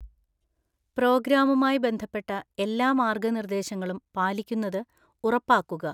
പ്രോഗ്രാമുമായി ബന്ധപ്പെട്ട എല്ലാ മാർഗ്ഗനിർദ്ദേശങ്ങളും പാലിക്കുന്നത് ഉറപ്പാക്കുക.